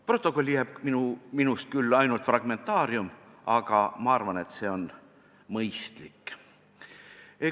Protokolli jääb minust küll ainult fragmentaarium, aga ma arvan, et see on mõistlik.